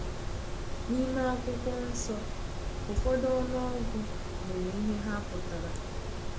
N’ime Akwụkwọ Nsọ, ụfọdụ ọnụọgụ nwere ihe ha pụtara.